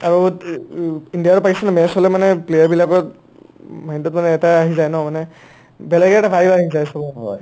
আৰু ইণ্ডিয়া আৰু পাকিস্তানৰ match হ'লে মানে player বিলাকৰ mind ত মানে এটায়ে আহি যায় ন মানে বেলেগ এটা vibe আহি যায় so